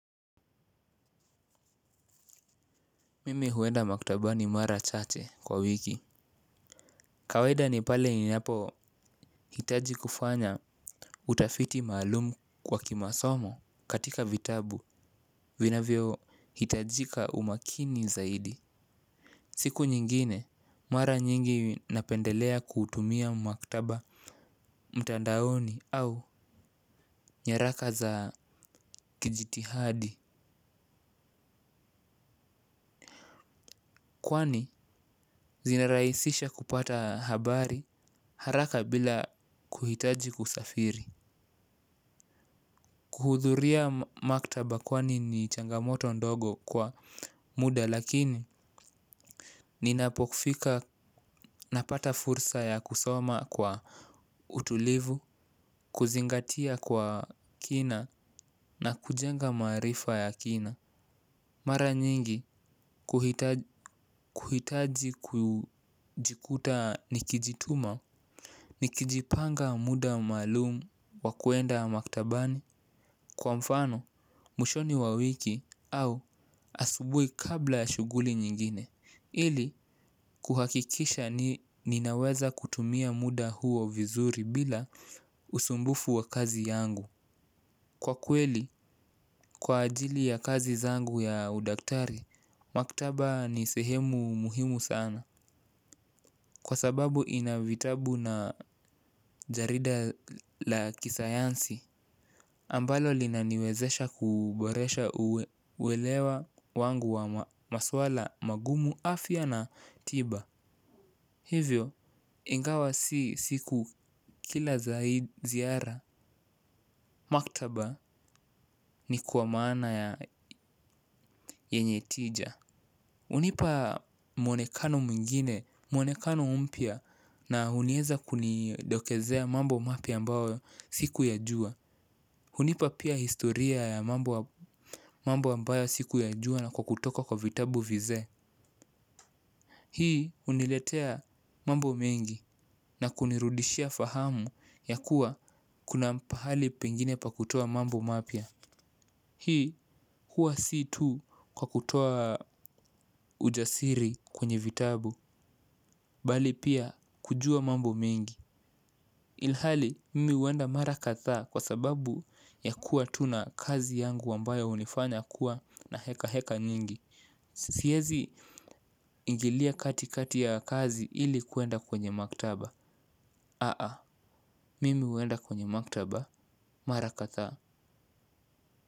Mimi huenda maktabani mara chache kwa wiki. Kawaida ni pale ninapohitaji kufanya utafiti maalumu kwa kimasomo katika vitabu vinavyohitajika umakini zaidi. Siku nyingine, mara nyingi napendelea kutumia maktaba mtandaoni au nyaraka za kijitihadi. Kwani, zinarahisisha kupata habari haraka bila kuhitaji kusafiri. Kuhudhuria maktaba kwani ni changamoto ndogo kwa muda lakini ninapofika napata fursa ya kusoma kwa utulivu, kuzingatia kwa kina na kujenga maarifa ya kina. Mara nyingi kuhitaji kujikuta nikijituma. Nikijipanga muda maalumu wa kuenda maktabani, kwa mfano, mwishoni wa wiki au asubuhi kabla ya shughuli nyingine. Ili kuhakikisha ni ninaweza kutumia muda huo vizuri bila usumbufu wa kazi yangu. Kwa kweli kwa ajili ya kazi zangu ya udaktari, maktaba ni sehemu muhimu sana. Kwa sababu ina vitabu na jarida la kisayansi ambalo linaniwezesha kuboresha uelewa wangu wa maswala magumu afya na tiba. Hivyo ingawa si siku kila za hii ziara. Maktaba ni kwa maana ya yenye tija. Hunipa mwonekano mwingine, mwonekano mpya na hunieza kunidokezea mambo mapya ambayo sikuyajua. Hunipa pia historia ya mambo ambayo sikuyajua na kwa kutoka kwa vitabu vizee. Hii huniletea mambo mengi na kunirudishia fahamu ya kuwa kuna pahali pengine pa kutoa mambo mapya. Hii huwa si tu kwa kutoa ujasiri kwenye vitabu bali pia kujua mambo mengi. Ilhali mimi huenda mara kadhaa kwa sababu ya kuwa tu na kazi yangu ambayo hunifanya kuwa na heka heka nyingi. Sisiezi ingilia kati kati ya kazi ili kuenda kwenye maktaba. Aa, mimi huenda kwenye maktaba mara kadhaa.